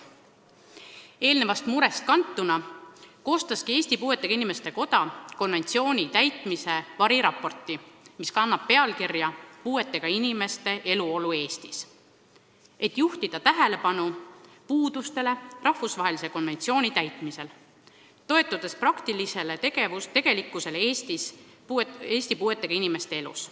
Sellest murest kantuna koostaski Eesti Puuetega Inimeste Koda konventsiooni täitmise variraporti, mis kannab pealkirja "Puuetega inimeste eluolu Eestis", et juhtida tähelepanu puudustele rahvusvahelise konventsiooni täitmisel, toetudes praktilisele tegelikkusele Eesti puuetega inimeste elus.